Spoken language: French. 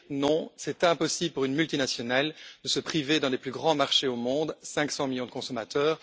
Non, il est impossible pour une multinationale de se priver d'un des plus grands marchés au monde 500 millions de consommateurs.